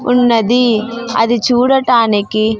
ఉన్నది అది చూడటానికి--